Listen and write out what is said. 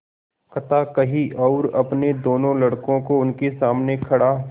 कथा कही और अपने दोनों लड़कों को उनके सामने खड़ा